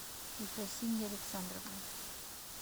ефросинья александровна